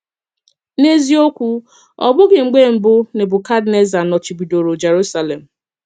N’eziokwu ọ bụghị mgbe mbụ Nebukadneza nọchibidòrò Jerúsalém.